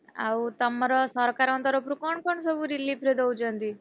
ଆଉ ତମର ସରକାରଙ୍କ ତରଫରୁ କଣ କଣ ସବୁ relief ରେ ଦଉଛନ୍ତି?